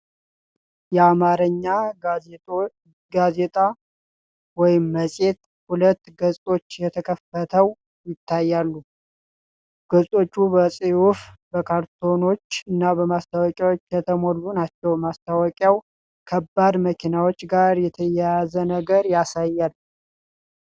የአማርኛ ጋዜጣ ወይም መጽሔት ሁለት ገጾች ተከፍተው ይታያሉ:: ገጾቹ በጽሑፎች፣ በካርቱኖችና በማስታወቂያዎች የተሞሉ ናቸው:: ማስታወቂያው ከከባድ መኪናዎች ጋር የተያያዘ ነገር ያሳያል::